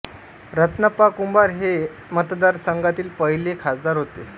रत्नाप्पा कुंभार हे या मतदारसंघातील पहिले खासदार होते